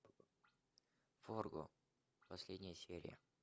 фарго последняя серия